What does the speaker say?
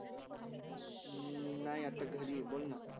अं नाही अता घरी आहे बोलना.